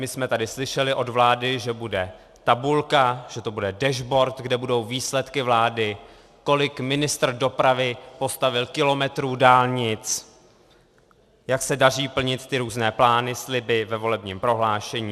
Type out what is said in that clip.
My jsme tady slyšeli od vlády, že bude tabulka, že to bude dashboard, kde budou výsledky vlády, kolik ministr dopravy postavil kilometrů dálnic, jak se daří plnit ty různé plány, sliby ve volebním prohlášení.